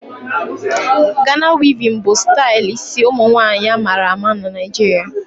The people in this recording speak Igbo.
Gana wevin bụ stali ịsi ụmụnwanyị a mara ama n'Naijiria